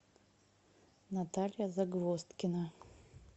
наталья загвоздкина